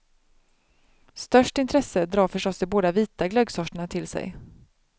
Störst intresse drar förstås de båda vita glöggsorterna till sig.